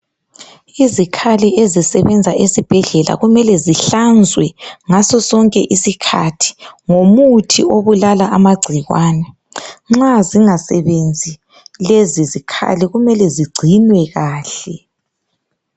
Izikhali ezisebenza esibhedlela kumele zihlanzwe ngasosonke isikhathi ngomuthi obulala amagcikwane nxa zingasebenzi lezi zikhali kumele zingcinwe kahle.